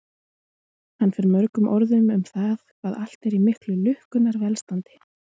Hann fer mörgum orðum um það hvað allt sé í miklu lukkunnar velstandi.